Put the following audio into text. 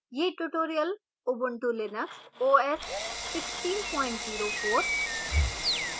यह tutorial: ubuntu linux os 1604